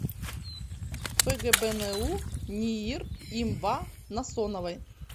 фгбну ниир им ва насоновой